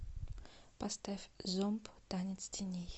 поставь зомб танец теней